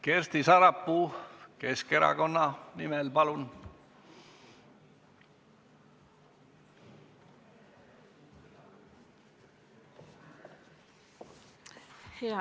Kersti Sarapuu Keskerakonna nimel, palun!